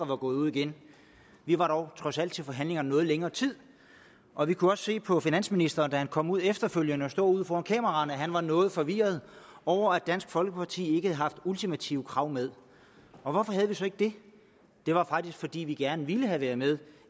var gået ud igen vi var dog trods alt til forhandlingerne i noget længere tid og vi kunne også se på finansministeren da han kom ud efterfølgende og stod foran kameraerne at han var noget forvirret over at dansk folkeparti ikke havde haft ultimative krav med hvorfor havde vi så ikke det det var faktisk fordi vi gerne ville have været med